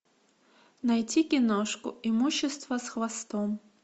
найти киношку имущество с хвостом